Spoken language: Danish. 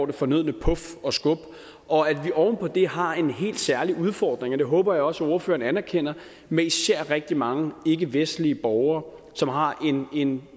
det fornødne puf og skub og at vi oven på det har en helt særlig udfordring og det håber jeg også ordføreren anerkender med især rigtig mange ikkevestlige borgere som har en